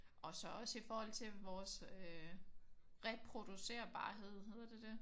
Og så også i forhold til vores øh reproducerbarhed. Hedder det det?